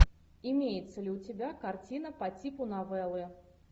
имеется ли у тебя картина по типу новеллы